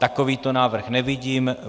Takovýto návrh nevidím.